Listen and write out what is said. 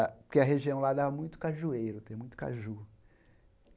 A que a região lá dava muito cajueiro, tem muito caju.